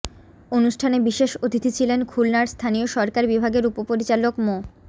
অনুষ্ঠানে বিশেষ অতিথি ছিলেন খুলনার স্থানীয় সরকার বিভাগের উপপরিচালক মো